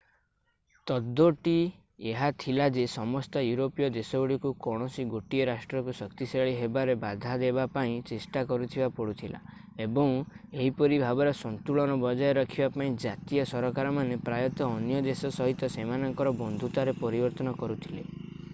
ତତ୍ତ୍ୱଟି ଏହା ଥିଲା ଯେ ସମସ୍ତ ୟୁରୋପୀୟ ଦେଶଗୁଡ଼ିକୁ କୌଣସି ଗୋଟିଏ ରାଷ୍ଟ୍ରକୁ ଶକ୍ତିଶାଳୀ ହେବାରେ ବାଧା ଦେବା ପାଇଁ ଚେଷ୍ଟା କରିବାକୁ ପଡୁଥିଲା ଏବଂ ଏହିପରି ଭାବରେ ସନ୍ତୁଳନ ବଜାୟ ରଖିବା ପାଇଁ ଜାତୀୟ ସରକାରମାନେ ପ୍ରାୟତଃ ଅନ୍ୟ ଦେଶ ସହିତ ସେମାନଙ୍କର ବନ୍ଧୁତାରେ ପରିବର୍ତ୍ତନ କରୁଥିଲେ